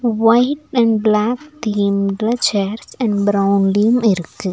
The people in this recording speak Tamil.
ஒயிட் அண்ட் பிளாக் தீம்ல சேர்ஸ் அண்ட் பிரவுன்லியும் இருக்கு.